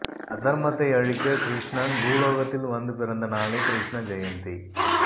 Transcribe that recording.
அதர்மத்தை அழிக்க கிருஷ்ணன் பூலோகத்தில் வந்து பிறந்த நாளே கிருஷ்ண ஜெயந்தி